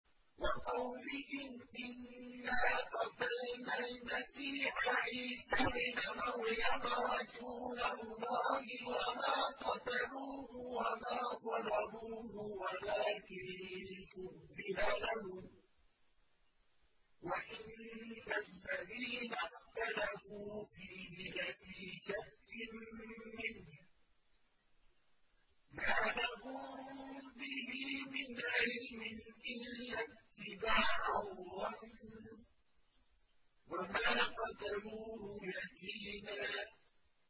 وَقَوْلِهِمْ إِنَّا قَتَلْنَا الْمَسِيحَ عِيسَى ابْنَ مَرْيَمَ رَسُولَ اللَّهِ وَمَا قَتَلُوهُ وَمَا صَلَبُوهُ وَلَٰكِن شُبِّهَ لَهُمْ ۚ وَإِنَّ الَّذِينَ اخْتَلَفُوا فِيهِ لَفِي شَكٍّ مِّنْهُ ۚ مَا لَهُم بِهِ مِنْ عِلْمٍ إِلَّا اتِّبَاعَ الظَّنِّ ۚ وَمَا قَتَلُوهُ يَقِينًا